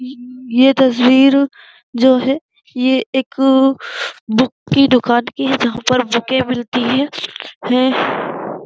ये तस्वीर जो है ये एक बुक की दुकान की है जहाँ पर बुकें मिलती हैं।